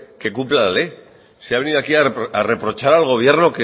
que cumpla la ley si ha venido aquí a reprochar al gobierno